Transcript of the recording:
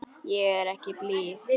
Ég er ekki blíð.